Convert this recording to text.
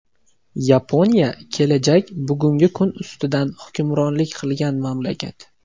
Yaponiya kelajak bugungi kun ustidan hukmronlik qilgan mamlakat.